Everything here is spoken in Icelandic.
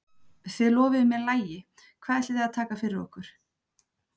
Þið lofuðuð mér lagi, hvað ætlið þið að taka fyrir okkur?